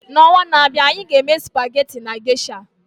N'ọnwa na-abịa, anyị ga-eme spaghetti na Geisha.